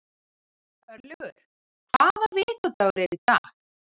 Örlygur, hvaða vikudagur er í dag?